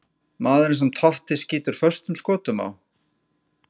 Maðurinn sem Totti skýtur föstum skotum á?